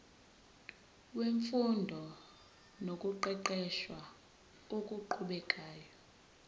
wemfundo nokuqeqesha okuqhubekayo